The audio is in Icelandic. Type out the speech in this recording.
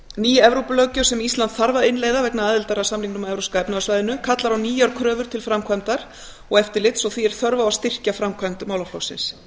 ný evrópulöggjöf sem ísland þarf að innleiða vegna aðildar að samningnum að evrópska efnahagssvæðinu kallar á nýjar kröfur til framkvæmdar og eftirlits og því er þörf á að styrkja framkvæmd málaflokksins